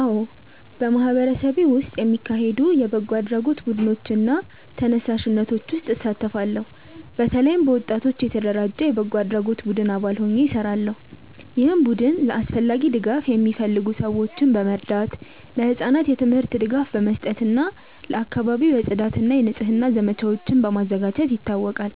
አዎ፣ በማህበረሰቤ ውስጥ የሚካሄዱ የበጎ አድራጎት ቡድኖች እና ተነሳሽነቶች ውስጥ እሳተፋለሁ። በተለይም በወጣቶች የተደራጀ የበጎ አድራጎት ቡድን አባል ሆኜ እሰራለሁ፣ ይህም ቡድን ለአስፈላጊ ድጋፍ የሚፈልጉ ሰዎችን በመርዳት፣ ለህጻናት የትምህርት ድጋፍ በመስጠት እና ለአካባቢው የጽዳት እና የንጽህና ዘመቻዎችን በማዘጋጀት ይታወቃል።